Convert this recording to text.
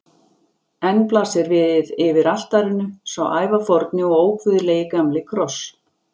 Enn blasir við yfir altarinu sá ævaforni og óguðlegi gamli kross.